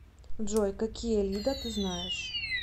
джой какие лида ты знаешь